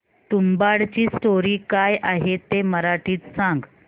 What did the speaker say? तुंबाडची स्टोरी काय आहे ते मराठीत सांग